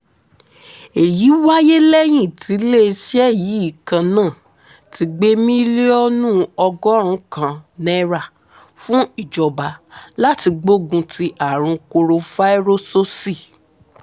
èyí wáyé lẹ́yìn tíléeṣẹ́ yìí kan náà ti gbé mílíọ̀nù ọgọ́rùn-ún kan náírà fún ìjọba láti gbógun ti àrùn korofairósósì